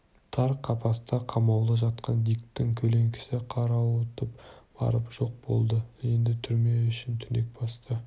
тар қапаста қамаулы жатқан диктің көлеңкесі қарауытып барып жоқ болды енді түрме ішін түнек басты